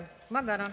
Ma tänan!